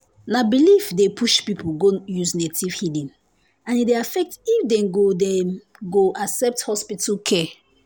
na belief dey push people go use native healing and e dey affect if dem go dem go accept hospital care.